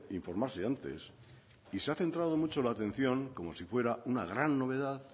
informarse antes se ha centrado mucho la atención como si fuera una gran novedad